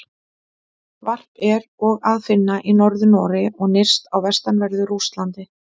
Varp er og að finna í Norður-Noregi og nyrst á vestanverðu Rússlandi.